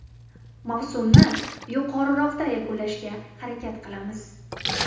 Mavsumni yuqoriroqda yakunlashga harakat qilamiz.